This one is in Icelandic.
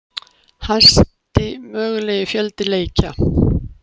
Hæsti mögulegi fjöldi leikja